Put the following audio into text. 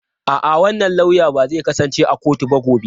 A'a, wannan lauya ba zai kasance a kotu ba gobe.